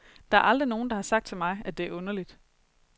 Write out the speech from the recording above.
Der er aldrig nogen, der har sagt til mig, at det er underligt.